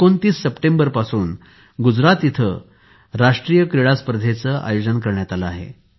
२९ September पासून गुजरात येथे राष्ट्रीय क्रीडा स्पर्धेचे आयोजन केले आहे